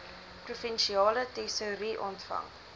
provinsiale tesourie ontvang